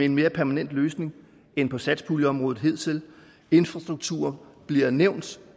en mere permanent løsning end på satspuljeområdet hidtil infrastruktur bliver nævnt